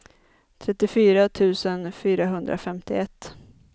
trettiofyra tusen fyrahundrafemtioett